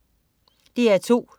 DR2: